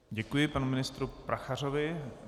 Děkuji panu ministru Prachařovi.